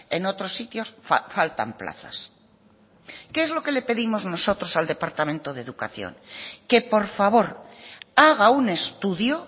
en otros sitios faltan plazas qué es lo que le pedimos nosotros al departamento de educación que por favor haga un estudio